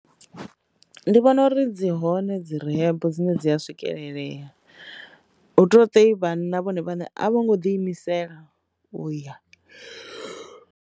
Ndi vhona uri dzi hone dzi rehab dzine dzi a swikelelea hutotei vhanna vhone vhane a vho ngo ḓi imisela uya.